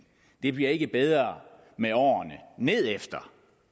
det bliver ikke bedre med årene nedefter